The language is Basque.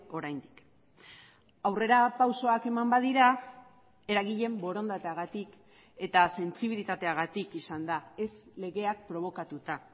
oraindik aurrerapausoak eman badira eragileen borondateagatik eta sentsibilitateagatik izan da ez legeak probokatuta